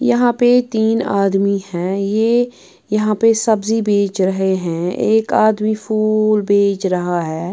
यहां पे तीन आदमी हैं ये यहां पे सब्जी बेच रहे हैं एक आदमी फूल बेच रहा है।